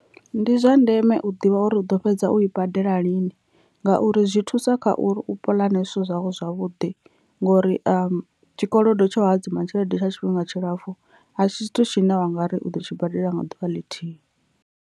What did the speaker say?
Ndi zwa ndeme u ḓivha uri u ḓo fhedza u i badela lini ngauri zwi thusa kha uri u puḽane zwithu zwau zwavhuḓi ngori tshikolodo tsha u hadzima tshelede tsha tshifhinga tshilapfhu a si tshithu tshine u ngari u ḓo tshi badela nga ḓuvha ḽithihi.